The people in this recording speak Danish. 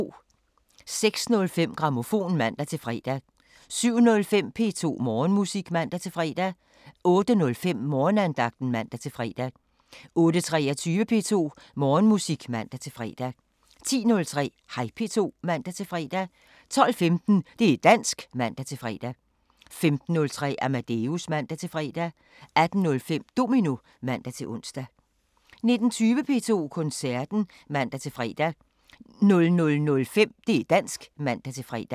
06:05: Grammofon (man-fre) 07:05: P2 Morgenmusik (man-fre) 08:05: Morgenandagten (man-fre) 08:23: P2 Morgenmusik (man-fre) 10:03: Hej P2 (man-fre) 12:15: Det' dansk (man-fre) 15:03: Amadeus (man-fre) 18:05: Domino (man-ons) 19:20: P2 Koncerten (man-fre) 00:05: Det' dansk *(man-fre)